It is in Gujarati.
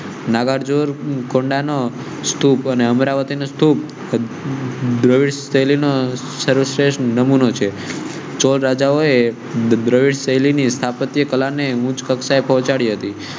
નાગાર્જુન સ્તુપ ને અમરાવતી ને સ્તુપસર્વ શ્રેષ્ઠ નમુનો છે. ચોલા રાજાઓ શૈલી ની સ્થાપત્ય કલા ને ઉચ્ચ કક્ષાએ પહોંચાડી હતી